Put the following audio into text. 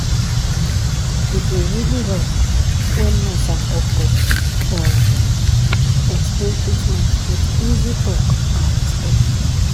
e dey really help when nurse and doctos um explain treatment with easy talk and respect.